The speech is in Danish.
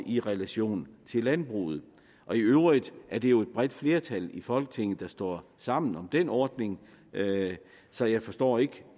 i relation til landbruget i øvrigt er det jo et bredt flertal i folketinget der står sammen om den ordning så jeg forstår ikke